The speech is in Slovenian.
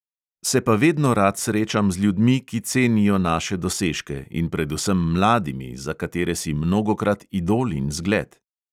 "Se pa vedno rad srečam z ljudmi, ki cenijo naše dosežke, in predvsem mladimi, za katere si mnogokrat idol in zgled."